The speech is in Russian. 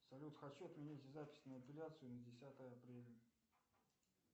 салют хочу отменить запись на эпиляцию на десятое апреля